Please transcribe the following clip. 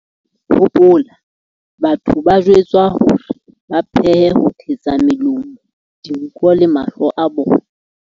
Hopola, batho ba jwetswa hore ba pheme ho thetsa melomo, dinko le mahlo a bona.